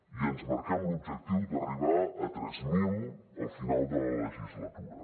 i ens marquem l’objectiu d’arribar a tres mil al final de la legislatura